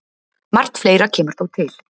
Margt fleira kemur þó til.